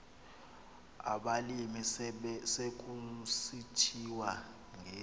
abalimi sekusithiwa ngezi